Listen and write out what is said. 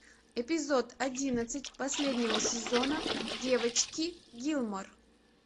эпизод одиннадцать последнего сезона девочки гилмор